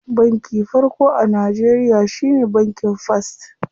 Banki farko a Najeriya shine bankin first.